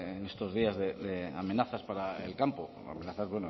de en estos días de amenazas para el campo